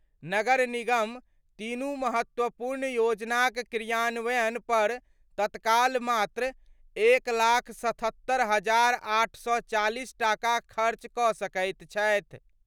नगर निगम तीनू महत्वपूर्ण योजनाक क्रियान्वयन पर तत्काल मात्र 1,77,840 टाका खर्च कऽ सकैत अछि।